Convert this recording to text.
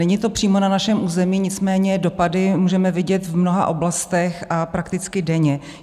Není to přímo na našem území, nicméně dopady můžeme vidět v mnoha oblastech a prakticky denně.